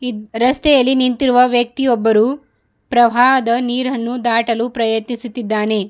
ಇದ್ ರಸ್ತೆಯಲ್ಲಿ ನಿಂತಿರುವ ವ್ಯಕ್ತಿಯೊಬ್ಬರು ಪ್ರವಾಹದ ನೀರನ್ನು ದಾಟಲು ಪ್ರಯತಿಸುತ್ತಿದ್ದಾನೆ.